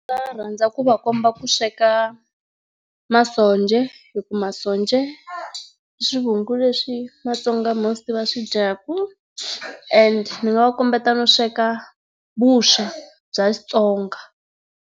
rhandza ku va komba ku sweka masonja hi ku masonja i swivungu leswi maTsonga most ma swi dyaka and ni va kombeta no sweka vuswa bya Xitsonga.